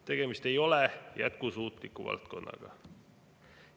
Tegemist ei ole jätkusuutliku valdkonnaga.